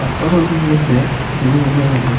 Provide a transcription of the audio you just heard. Workout ಪೋಪುನಲ ಎಡ್ಡೆ gym ಪೋಪುನಲ ಎಡ್ಡೆ.